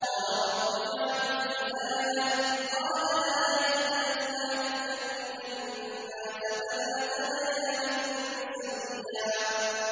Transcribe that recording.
قَالَ رَبِّ اجْعَل لِّي آيَةً ۚ قَالَ آيَتُكَ أَلَّا تُكَلِّمَ النَّاسَ ثَلَاثَ لَيَالٍ سَوِيًّا